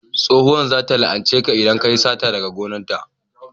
tsohuwar za ta la'ance ka idan kayi sata daga gonar ta